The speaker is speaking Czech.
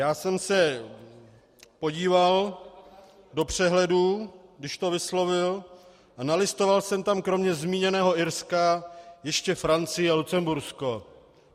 Já jsem se podíval do přehledu, když to vyslovil, a nalistoval jsem tam kromě zmíněného Irska ještě Francii a Lucembursko.